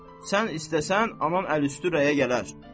Sən istəsən, anam əl üstü rəyə gələr.